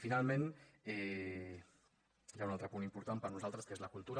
finalment hi ha un altre punt important per nosaltres que és la cultura